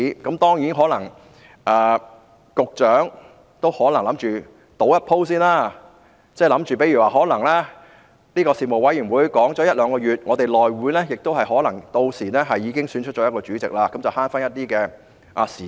當然，局長可能打算冒一次險，希望大家在事務委員會就《條例草案》辯論一兩個月後，屆時內會可能已選出主席，這便能節省一些時間。